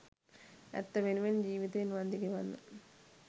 ඇත්ත වෙනුවෙන් ජිවිතයෙන් වන්දි ගෙවන්න